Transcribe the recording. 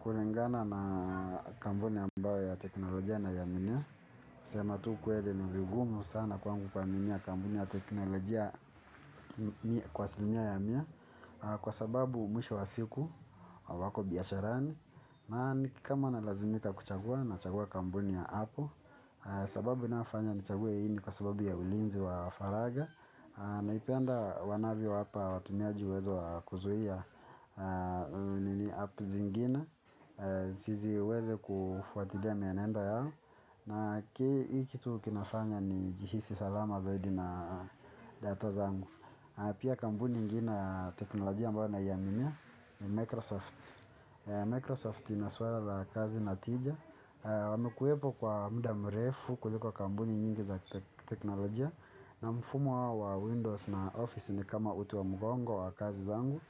Kulingana na kampuni ambambayo ya teknolojia nai aminia kusema tu kwele ni vigumu sana kwangu kwangu kuaminia kampuni ya teknolojia kwa asilimia ya mia. Kwa sababu mwisho wa siku wako biasharani. Na nikikama na lazimika kuchagua nachagua kampuni ya Apple. Sababu inayofanya ni chague hii ni kwa sababu ya ulinzi wa faraga. Naipenda wanavyo wapa watumiaji uwezo wa kuzuia nini app zingine. Zisiweze kufuatilia mienendo yao na hii kitu kinafanya ni jihisi salama zaidi na data zangu. Pia kambuni ingine ya teknolojia ambayo naiaminia ni Microsoft Microsoft inaswala la kazi natija. Wamekuwepo kwa muda mrefu kuliko kampuni nyingi za teknolojia na mfumo wa Windows na Office ni kama uti wa mgongo wa kazi zangu.